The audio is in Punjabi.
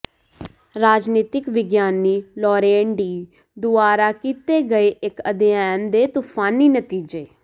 ਰਾਜਨੀਤਕ ਵਿਗਿਆਨੀ ਲੌਰੇਨ ਡੀ ਦੁਆਰਾ ਕੀਤੇ ਗਏ ਇਕ ਅਧਿਐਨ ਦੇ ਤੂਫ਼ਾਨੀ ਨਤੀਜੇ